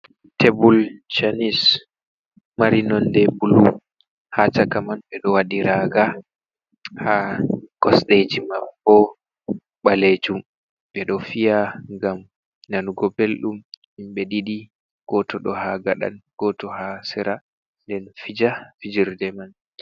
tebul schanes mari nonde bulu haa caka man be do wadi raaga haa kosdeji man bo baleejum. Be do fiya ngam nanugo beldum himbe didi gooto do haa gada goto haa seera nden fija fijirde man.